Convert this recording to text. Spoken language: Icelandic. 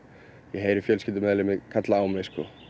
ég heyri fjölskyldumeðlimi kalla á mig